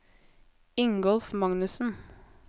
Ingolf Magnussen